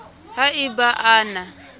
ha e ba a na